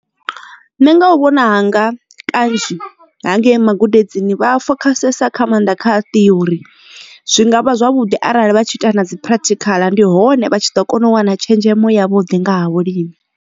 Nṋe nga u vhona hanga kanzhi hangei magudedzini vha fokhasesa kha maanḓa kha theory zwi ngavha zwavhuḓi arali vha tshi ita na dzi practical ndi hone vha tshi ḓo kona u wana tshenzhemo ya vhuḓi ngaha vhulimi.